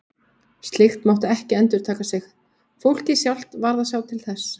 Slíkt mátti ekki endurtaka sig, fólkið sjálft varð að sjá til þess.